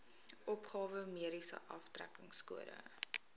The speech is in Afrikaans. opgawe mediese aftrekkingskode